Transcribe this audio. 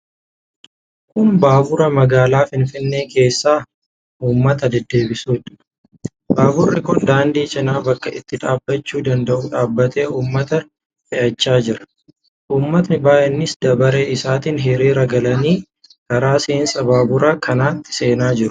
Kun baabura magaalaa Finfinnee keessa uummata deddeebisuudha. Baaburri kun daandii cina bakka itti dhaabbachuu danda'u dhaabbatee uummata fe'achaa jira. Uummatni baay'eenis dabaree isaaniitiin hiriira galanii karaa seensaa baabura kanatti seenaa jiru.